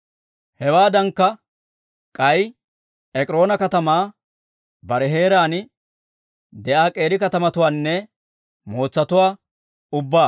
Hewaadankka, k'ay Ek'iroona katamaa bare heeraan de'iyaa k'eeri katamatuwaanne mootsatuwaa ubbaa.